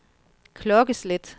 klokkeslæt